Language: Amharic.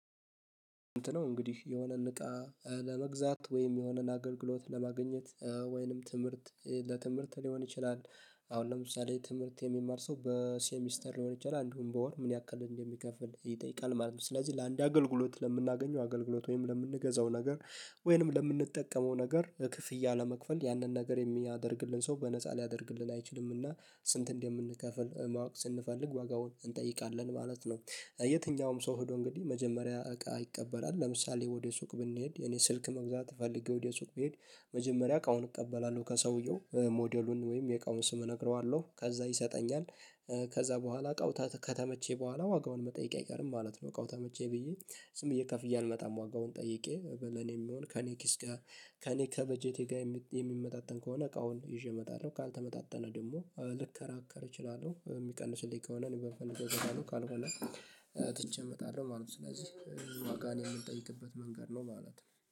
እንትን ነው እንግዲህ የሆነን እቃ ለመግዛት ወይም የሆነን አገልግሎት ለማግኘት ወይንም ትምህርት ለትምህርት ሊሆን ይችላል። አሁን ለምሳሌ ትምህርት የሚማር ሰው በሴሚስተር ሊሆን ይችላል አንዱን በወር ምን ያክል እንደሚከፍል ይጠይቃል ማለት ነው። ስለዚህ ለአንዴ አገልግሎት ለምናገኘው አገልግሎት ወይም ለምንገዛው ነገር። ወይም ለምንጠቀመው ነገር ክፍያ ለመክፈል ያንን ነገር የሚያደርግልን ሰው በነፃ ሊያደርግልን አይችልምና ስንት እንደምንከፍል ማወቅ ስንፈልግ ዋጋውን እንጠይቃለን ማለት ነው። የትኛውም ሰው ሄዶ እንግዲህ መጀመሪያ እቃ ይቀበላል ለምሳሌ ወደ ሱቅ ብንሄድ የኔ ስልክ መግዛት ፈልጌ ወደ ሱቅ ብሄድ መጀመሪያ እቃውን እቀበላለሁ ከሰውየው ሞዴሉን ወይም የቃውን ስም እነግረዋለሁ ከዛ ይሰጠኛል። ከዛ በኋላ እቃው ከተመቸኝ በኋላ ዋጋውን መጠየቂያ አይቀርም ማለት ነው። ተመቼ ብዬ ዠም ከፍዬ አልመጣም ዋጋውን ጠይቄ ለኔ የሚሆን ከእኔ ኪስ ጋር ከኔ ከበጀቴ ጋር የሚመጣጠን ከሆነ እቃውን ይዤ እመጣለሁ። ካልተመጣጠነ ደግሞ ልከራከር እችላለሁ የሚቀንስልኝ ከሆነ እኔ በፈነገር ነው። ካልሆነ ትቼ እመጣለሁ ማለት ነው። ስለዚህ ዋጋን የምንጠይቅበት መንገድ ነው ማለት ነው